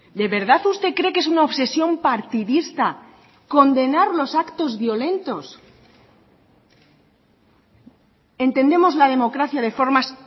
de verdad usted cree que es una obsesión partidista condenar los actos violentos entendemos la democracia de formas